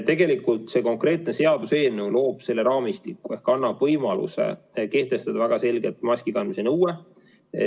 Tegelikult see konkreetne seaduseelnõu loob selle raamistiku ehk annab võimaluse kehtestada väga selgelt maski kandmise nõue.